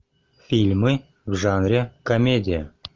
фильмы в жанре комедия